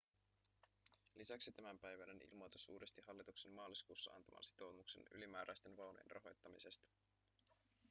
lisäksi tämänpäiväinen ilmoitus uudisti hallituksen maaliskuussa antaman sitoumuksen ylimääräisten vaunujen rahoittamisesta